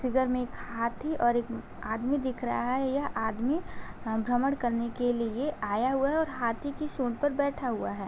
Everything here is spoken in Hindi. इधर में एक हाथी और एक आदमी दिख रहा है। यह आदमी भ्रमड़ करने के लिए आया हुआ है और हाथी की सूंड पर बैठा हुआ है।